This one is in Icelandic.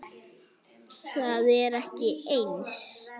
Það er ekki eins.